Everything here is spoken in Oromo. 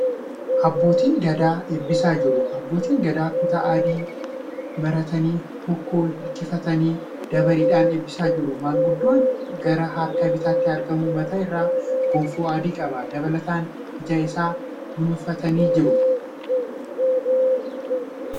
Abbootiin Gadaa eebbisaa jiru . Abbootiin Gadaa kutaa adii maratanii hokkoo hirkifatanii dabareedhaan eebbisaa jiru . Maanguddoon gara harka bitaatti argamu mataa irraa gonfoo adii qaba. Dabalataan ija isaanii dunuunfatanii jiru.